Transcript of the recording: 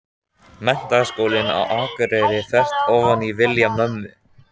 Menntaskólann á Akureyri, þvert ofan í vilja mömmu.